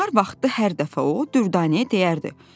Nahar vaxtı hər dəfə o Dürdanəyə deyərdi: